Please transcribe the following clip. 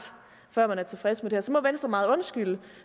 før man tilfreds med det her så må venstre meget undskylde